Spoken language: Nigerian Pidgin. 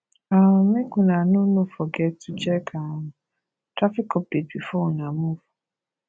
um make una no no forget to check um traffic update before una move